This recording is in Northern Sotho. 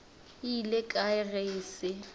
ile kae ge e se